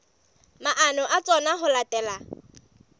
maano a tsona ho latela